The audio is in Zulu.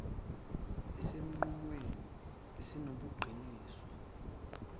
esinqumweni esinobuqiniso nesibhekele